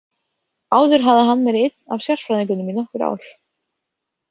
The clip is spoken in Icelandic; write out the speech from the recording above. Áður hafði hann verið einn af sérfræðingunum í nokkur ár.